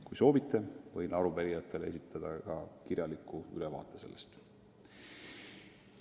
Kui soovite, võin arupärijatele esitada ka kirjaliku ülevaate sellest.